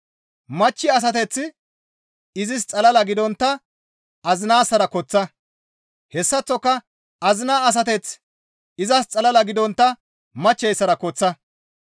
Machchi asateththi izis xalala gidontta azinaassara koththa; hessaththoka azinaa asateththi izas xalala gidontta machcheyssara koththa.